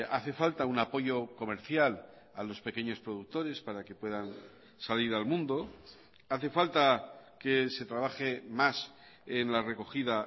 hace falta un apoyo comercial a los pequeños productores para que puedan salir al mundo hace falta que se trabaje más en la recogida